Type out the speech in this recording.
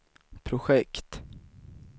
projekt